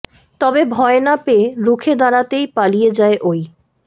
তবে ভয় না পেয়ে রুখে দাঁড়াতেই পালিয়ে যায় ওই